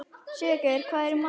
Sigurgeir, hvað er í matinn?